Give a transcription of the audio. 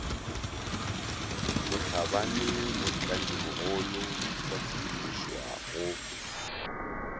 motlhabane motlanyimogolo wa tshedimošoa go